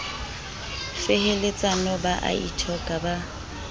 feheletsana ba a ithoka ba